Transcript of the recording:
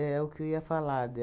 o que eu ia falar de